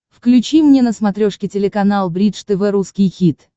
включи мне на смотрешке телеканал бридж тв русский хит